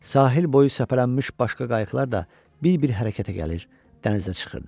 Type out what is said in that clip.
Sahil boyu səpələnmiş başqa qayıqlar da bir-bir hərəkətə gəlir, dənizə çıxırdı.